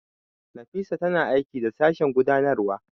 Nafisa tana aiki da Sashen Gudanarwa.